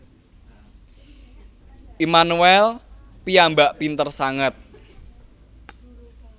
Immanuel piyambak pinter sanget